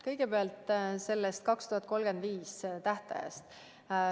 Kõigepealt sellest tähtajast 2035.